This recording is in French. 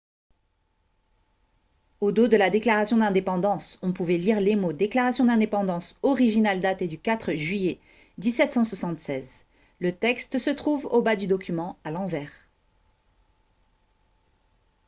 au dos de la déclaration d'indépendance on pouvait lire les mots « déclaration d'indépendance originale datée du 4 juillet 1776 ». le texte se trouve au bas du document à l'envers